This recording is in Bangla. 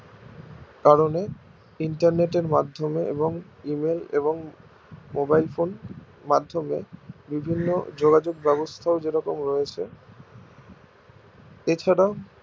কারণে internet এর মাধ্যমে এবং email এবং mobile phone মাধ্যমে বিভিন্ন যোগাযোগ ব্যাবস্থাও যেরকম রয়েছে এছাড়াও